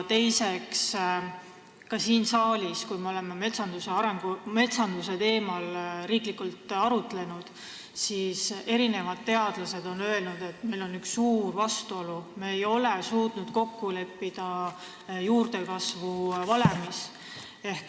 Teiseks, ka siin saalis, kui me oleme metsanduse teemal arutlenud, on mitmed teadlased öelnud, et meil on üks suur vastuolu, me ei ole suutnud kokku leppida juurdekasvu valemis.